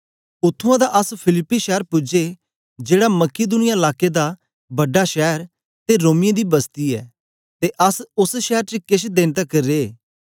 उत्त्थुआं दा अस फिलिप्पी शैर पूजे जेड़ा मकिदुनिया लाके दा बड़ा शैर ते रोमियें दी बस्ती ऐ ते अस ओस शैर च केछ देन तकर रे